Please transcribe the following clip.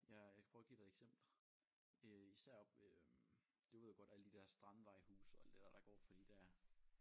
Jeg jeg kan prøve at give dig et eksempel øh især oppe øh du ved godt alle de der strandvejhuse og alt det der der går for de der